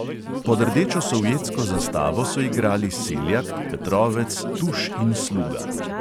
Pod rdečo sovjetsko zastavo so igrali seljak, petrovec, tuš in sluga.